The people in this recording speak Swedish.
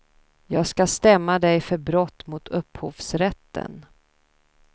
Jag ska stämma dej för brott mot upphovsrätten.